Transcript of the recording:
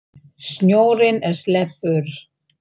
Snjórinn er sleipur!